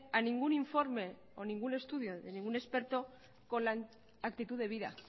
a ningún informe o ningún estudio de ningún experto con la actitud debida